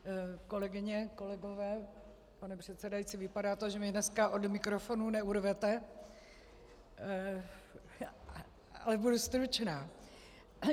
Kolegyně, kolegové, pane předsedající, vypadá to, že mě dneska od mikrofonu neurvete, ale budu stručná.